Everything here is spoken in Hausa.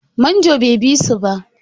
Manjon bai bi su ba.